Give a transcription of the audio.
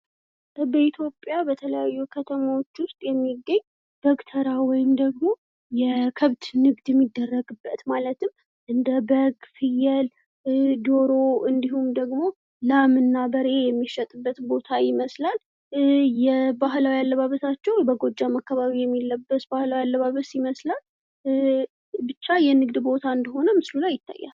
በኢትዮጵያ በተለያዩ ከተሞች ውስጥ የሚገኝ በግ ተራ ወይም ደግሞ የከብት ግብይት የሚደረግበት። ማለትም እንደ በግ፣ ፍየል፣ ላም፣ ዶሮ እና የመሳሰሉት የ የሚሸጥበት ቦታ ነው።